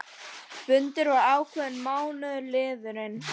Fundur var ákveðinn að mánuði liðnum.